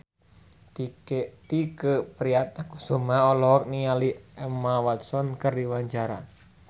Tike Priatnakusuma olohok ningali Emma Watson keur diwawancara